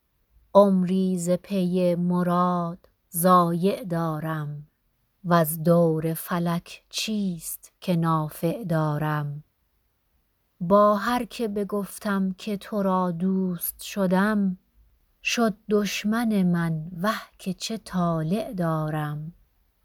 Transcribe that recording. عمری ز پی مراد ضایع دارم وز دور فلک چیست که نافع دارم با هر که بگفتم که تو را دوست شدم شد دشمن من وه که چه طالع دارم